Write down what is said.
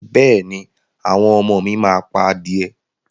Bẹ́ẹ̀ ni, àwọn ọmọ mi máa pa adìẹ